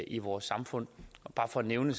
i vores samfund bare for at nævne